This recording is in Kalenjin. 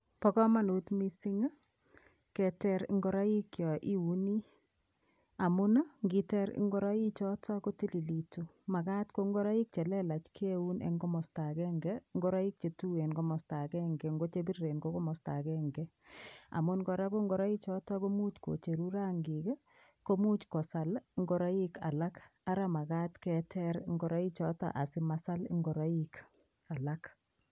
Po komonut mising, keter nguroik yoiuni amun ngiter ngureichoto kotililitu. Makat ko ngureik chelelech keun eng komosta akenke, ngureik chetuen komasta akenke, nko chepiriren ko komasta akenke amun kora ko ngureichoto komuch kocheru rangik, komuch kosal ngoreik alak ara makat keter ngureichoto asimasal ngureik alak.